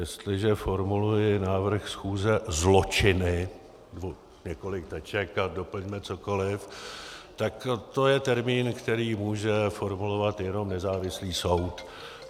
Jestliže formuluji návrh schůze - zločiny, několik teček, a doplňme cokoliv, tak to je termín, který může formulovat jenom nezávislý soud.